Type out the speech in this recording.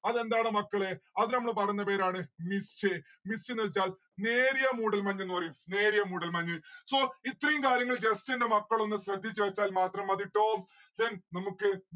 അതെന്താടാ മക്കളെ അതിന് നമ്മള് പറയുന്ന പേരാണ് mist. mist എന്ന്‌ വെച്ചാൽ നേരിയ മൂടൽമഞ്ഞെന്ന് പറയും നേരിയ മൂടൽമഞ് so ഇത്രയും കാര്യങ്ങൾ just എന്റെ മക്കളൊന്ന് ശ്രദ്ധിച്ച് വെച്ചാൽ മാത്രം മതി. then നമ്മുക്ക്